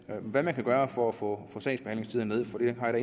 med hvad man kan gøre for at få sagsbehandlingstiden ned for det har